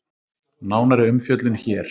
Nánari umfjöllun hér